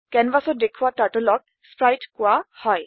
কেনভাচত দেখোৱা Turtleক স্প্ৰাইট কোৱা হয়